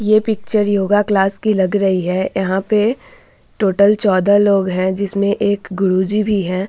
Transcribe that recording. ये picture yoga class कि लग रही है। यहाँ पे टोटल चौदह लोग लग रहें हैं जिसमें एक गुरु जी भी हैं।